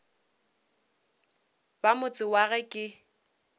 ba motse wa ge ke